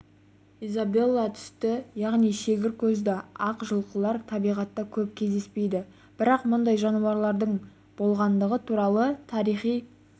изабелла түсті яғни шегір көзді ақ жылқылар табиғатта көп кездеспейді бірақ мұндай жануарлардың болғандығы туралы тарихи